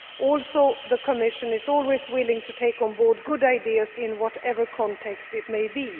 context. Also, the Commission is always willing to take on board good ideas in whatever context